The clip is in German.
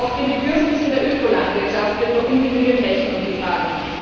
Auch den Bedürfnissen der Ökolandwirtschaft wird nur ungenügend Rechnung getragen.